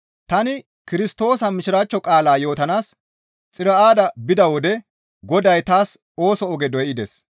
Tani Kirstoosa Mishiraachcho qaalaa yootanaas Xiro7aada bida wode Goday taas ooso oge doydes.